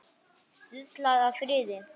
Stuðlað að friði